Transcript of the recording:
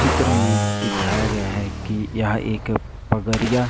चित्र में दिखाया गया हैं कि यहां एक पगारिया--